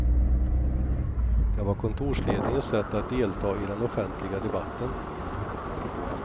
Det var kontorsledningens sätt att delta i den offentliga debatten.